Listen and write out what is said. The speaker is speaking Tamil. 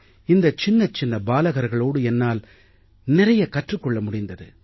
இந்தச் சின்னச்சின்ன பாலகர்களோடு என்னால் நிறைய கற்றுக் கொள்ள முடிந்தது